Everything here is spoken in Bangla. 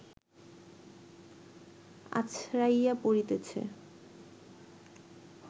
আছড়াইয়া পড়িতেছে